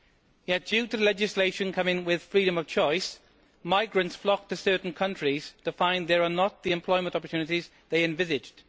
Yet due to legislation coming with freedom of choice, migrants flock to certain countries to find there are not the employment opportunities they envisaged.